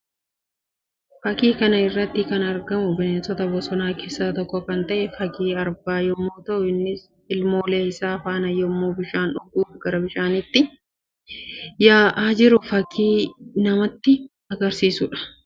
Fakkii kana irratti kan argamu bineensota bosonaa keessaa tokko kan ta'e fakkii Arbaa yammuu ta'u; innis ilmoolee isaa faana yammuu bishaan dhuguuf gara bishaaniitti yaa'aa jiru fakkii nsmatti agarsiisuu dha